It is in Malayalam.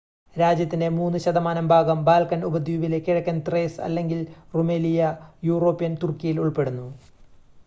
രാജ്യത്തിന്റെ 3% ഭാഗം ബാൽക്കൻ ഉപദ്വീപിലെ കിഴക്കൻ ത്രേസ് അല്ലെങ്കിൽ റുമെലിയ യൂറോപ്യൻ തുർക്കിയിൽ ഉൾപ്പെടുന്നു